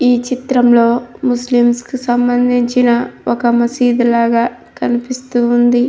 ఈ చిత్రం లో ముస్లిమ్స్ కి సంబంధించిన ఒక మసీదు లాగా కనిపిస్తుంది.